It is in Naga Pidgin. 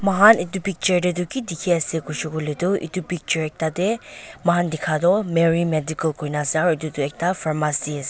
moikhan edu picture tae toh kidikhiase koishey koilae tu edu picture ekta tae moi khan dikha toh mary medical koina ase aro edu toh ekta pharmacy ase.